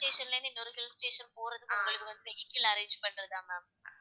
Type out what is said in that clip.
hill station ல இருந்து இன்னொரு hill station போறதுக்கு உங்களுக்கு வந்து vehicle arrange பண்ணுறதா ma'am